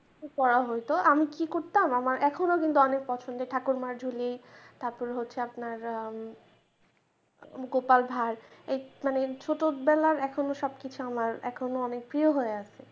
পড়া হত আমি কি করতাম আমার এখনো কিন্তু অনেক পছন্দের ঠাকুমার ঝুলি তার পর হচ্ছে আপনার গোপাল ভাঁড় মানে ছোটবেলার এখনো সবকিছু আমার এখনো অনেক প্রিয় হয়ে আছে।